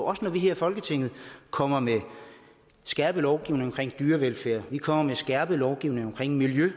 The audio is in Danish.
også når vi her i folketinget kommer med skærpet lovgivning til dyrevelfærd og vi kommer med skærpet lovgivning til miljøet